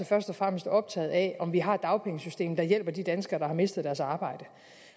først og fremmest optaget af om vi har et dagpengesystem der hjælper de danskere der har mistet deres arbejde